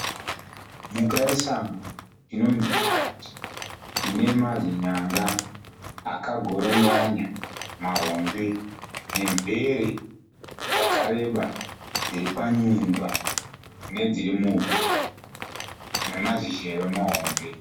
Mhuka yesango inonzi nyati. Ine mazinyanga akagoronganya mahombe nemvere dzakareba dziripanyundwa nedziri muhuro namazizheve mahombe.